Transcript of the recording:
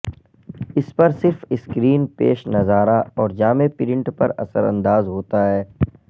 اس پر صرف اسکرین پیش نظارہ اور جامع پرنٹ پر اثر انداز ہوتا ہے